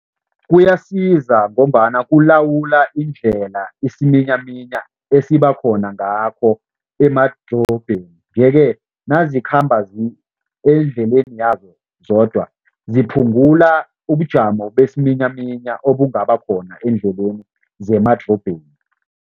Kuyasiza ngombana kulawula indlela isiminyaminya esibakhona ngakho emadrobheni yeke nazikhamba eendleleni yazo zodwa, ziphungula ubujamo besiminyaminya obungabakhona eendleleni zemadorobheni.